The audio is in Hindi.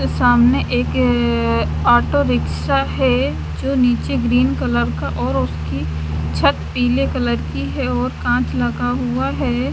सामने एक अअ ऑटो रिक्शा हैं जो नीचे ग्रीन कलर का और उसकी छत पीले कलर की हैं और काँच लगा हुआ हैं।